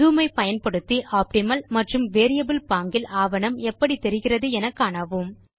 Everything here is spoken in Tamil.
ஜூம் ஐ பயன்படுத்தி ஆப்டிமல் மற்றும் வேரியபிள் பாங்கில் ஆவணம் எப்படி தெரிகிறது என காணவும்